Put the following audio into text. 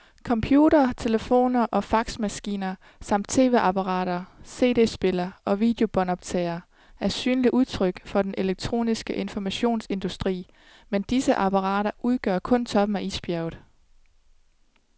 Computere, telefoner og faxmaskiner samt tv-apparater, cd-spillere og videobåndoptagere er synlige udtryk for den elektroniske informationsindustri, men disse apparater udgør kun toppen af isbjerget.